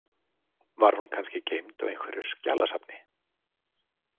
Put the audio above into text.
Var hún kannski geymd á einhverju skjalasafni?